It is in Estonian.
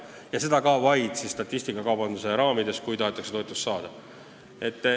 Ja seda ka vaid statistikakaubanduse raamides, kui tahetakse toetust saada.